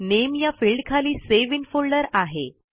नामे या फिल्डखाली save in folder आहे